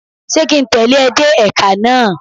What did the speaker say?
Ṣé ki ń tẹ̀lẹ́ ẹ dé èka náà?